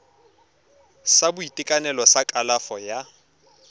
sa boitekanelo sa kalafo ya